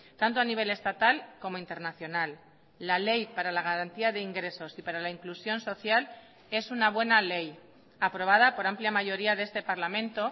tanto a nivel estatal como internacional la ley para la garantía de ingresos y para la inclusión social es una buena ley aprobada por amplia mayoría de este parlamento